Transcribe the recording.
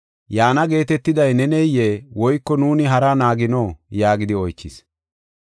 “Yaana geetetiday neneyee? Woyko nuuni haraa naagino?” yaagidi oychis.